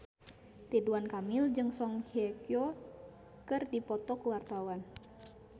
Ridwan Kamil jeung Song Hye Kyo keur dipoto ku wartawan